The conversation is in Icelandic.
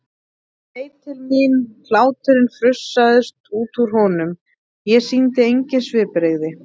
Hann leit til mín, hláturinn frussaðist út úr honum, ég sýndi engin svipbrigði.